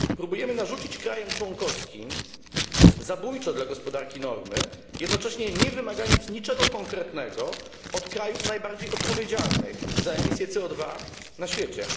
Próbujemy narzucić krajom członkowskim zabójcze dla gospodarki normy, jednocześnie nie wymagając niczego konkretnego od krajów najbardziej odpowiedzialnych za emisję CO na świecie.